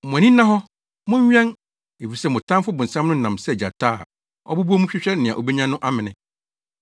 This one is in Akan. Mo ani nna hɔ; monwɛn, efisɛ mo tamfo bonsam no nam sɛ gyata a ɔbobɔ mu hwehwɛ nea obenya no amene.